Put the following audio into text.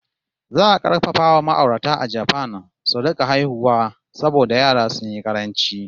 Za a karfafa wa ma'aurata a Japan su rika haihuwa saboda yara sun yi ƙaranci!